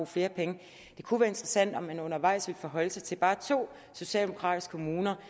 flere penge at det kunne være interessant om man undervejs ville forholde sig til bare to socialdemokratiske kommuner